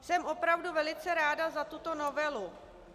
Jsem opravdu velice ráda za tuto novelu.